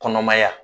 Kɔnɔmaya